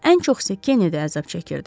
Ən çox isə Kennedi əzab çəkirdi.